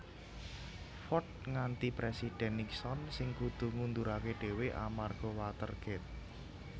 Ford ngganti Présidhèn Nixon sing kudu ngunduraké dhéwé amarga Watergate